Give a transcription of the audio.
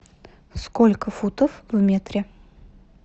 сколько футов в метре